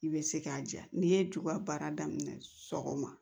I bɛ se k'a diya n'i ye juba baara daminɛ sɔgɔma